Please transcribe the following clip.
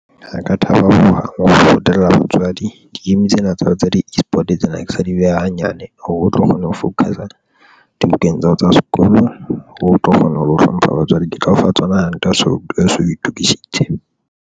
Ha ka thaba hohang ho tella batswadi di-game tsena tsa tsa di-eSport, tsena ke sa di beha hanyane hore o tlo kgona ho focus-a dibukeng tsa hao tsa sekolo, o tlo kgona ho lo hlompha batswadi ke tla o fa tsona hantle ha so o itokisitse.